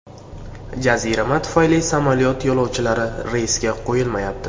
Jazirama tufayli samolyot yo‘lovchilari reysga qo‘yilmayapti.